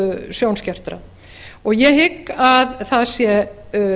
sjónskertra og ég hygg að það sé